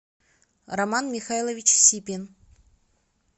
роман михайлович сипин